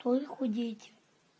то ли худеть